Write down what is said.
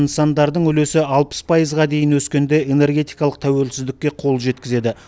нысандардың үлесі алпыс пайызға дейін өскенде энергетикалық тәуелсіздікке қол жеткізеді